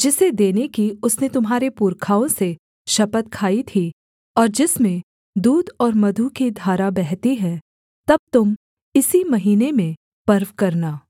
जिसे देने की उसने तुम्हारे पुरखाओं से शपथ खाई थी और जिसमें दूध और मधु की धारा बहती हैं तब तुम इसी महीने में पर्व करना